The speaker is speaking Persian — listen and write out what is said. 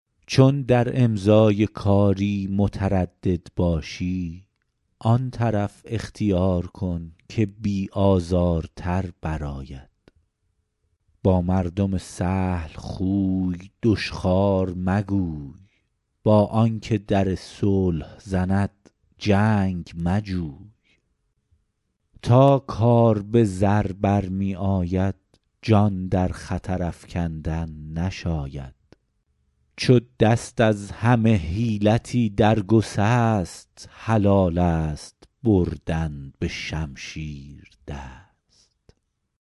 چون در امضای کاری متردد باشی آن طرف اختیار کن که بی آزارتر بر آید با مردم سهل خوی دشخوار مگوی با آن که در صلح زند جنگ مجوی تا کار به زر برمی آید جان در خطر افکندن نشاید عرب گوید آخر الحیل السیف چو دست از همه حیلتی در گسست حلال است بردن به شمشیر دست